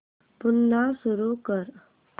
पुन्हा सुरू कर